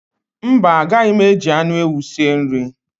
Mba, agaghị m eji anụ ewu sie nri